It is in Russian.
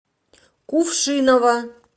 кувшиново